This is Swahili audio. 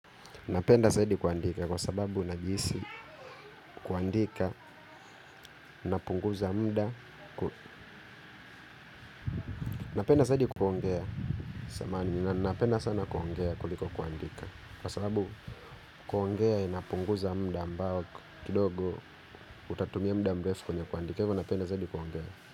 Napenda zaidi kuandika kwa sababu najihisi kuandika napunguza muda napenda zaidi kuongea napenda sana kuongea kuliko kuandika. Kwa sababu kuongea inapunguza muda ambao kidogo utatumia muda mrefu kwenye kuandika kwa hivo napenda zaidi kuongea.